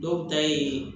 Dɔw ta ye